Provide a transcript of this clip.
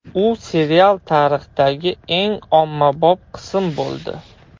U serial tarixidagi eng ommabop qism bo‘ldi.